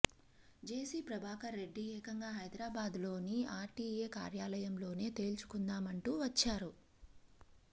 జేసీ ప్రభాకర్ రెడ్డి ఏకంగా హైదరాబాద్లోని ఆర్టీఏ కార్యాలయంలోనే తేల్చుకుందామంటూ వచ్చారు